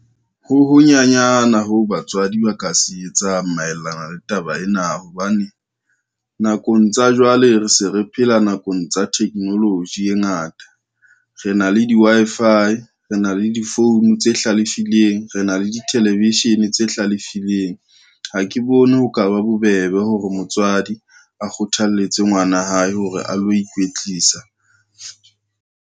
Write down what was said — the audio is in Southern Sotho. Ho ho nyanyana ho batswadi ba ka se etsang maelana le taba ena hobane, nakong tsa jwale re se re phela nakong tsa technology e ngata, re na le di-Wi-Fi, re na le di-phone tse hlalefileng, re na le dithelevishene tse hlalefileng. Ha ke bone ho ka ba bobebe hore motswadi a kgothalletse ngwana hae hore a lo ikwetlisa.